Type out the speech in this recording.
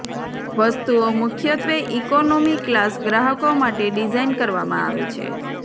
વસ્તુઓ મુખ્યત્વે economy class ગ્રાહકો માટે ડિઝાઇન કરવામાં આવે છે